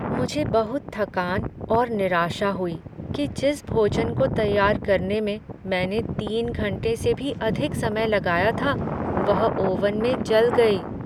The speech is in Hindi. मुझे बहुत थकान और निराशा हुई कि जिस भोजन को तैयार करने में मैंने तीन घंटे से भी अधिक समय लगाया था, वह ओवन में जल गई।